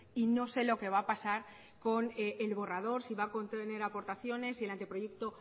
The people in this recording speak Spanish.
y no sé lo que va a pasar con el borrador si va a contener aportaciones si el anteproyecto